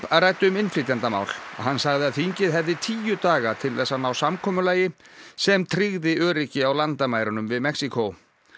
ræddi um innflytjendamál hann sagði að þingið hefði tíu daga til þess að ná samkomulagi sem tryggði öryggi á landamærunum við Mexíkó